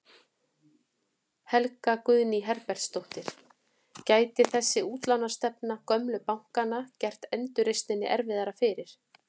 Guðný Helga Herbertsdóttir: Gæti þessi útlánastefna gömlu bankanna gert endurreisninni erfiðara fyrir?